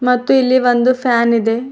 ಮತ್ತು ಇಲ್ಲಿ ಒಂದು ಫ್ಯಾನ್ ಇದೆ.